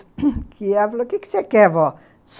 E ela falou, o que você quer, vó?